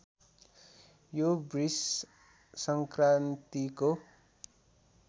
यो बृष संक्रान्तिको